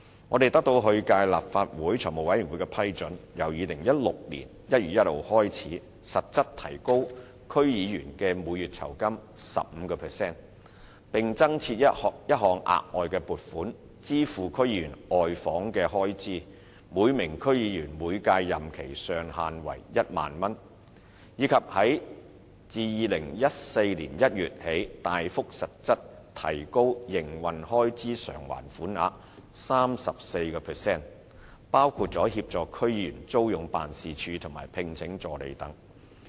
我們得到上屆立法會財務委員會的批准，由2016年1月1日開始，實質提高區議員的每月酬金 15%， 並增設一項額外撥款，支付區議員的外訪開支，每名區議員每屆任期的上限為1萬元；以及自2014年1月起，大幅實質提高營運開支償還款額 34%， 包括協助區議員租用辦事處及聘請助理等。